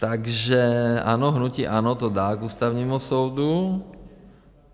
Takže ano, hnutí ANO to dá k Ústavnímu soudu.